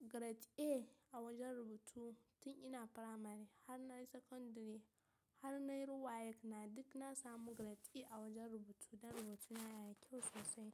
grade A a wajen rubutu tin ina primary har na yi secondary har na yi WAEC na duk na samu grade A a wajen rubutu dan rubutuna yana kyau sosai.